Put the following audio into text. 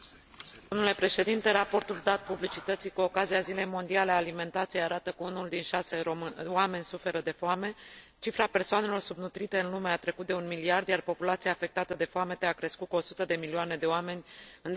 Raportul dat publicității cu ocazia zilei mondiale a alimentației arată că unul din șase oameni suferă de foame, cifra persoanelor subnutrite în lume a trecut de 1 miliard, iar populația afectată de foamete a crescut cu 100 de milioane de oameni în decurs de numai un an.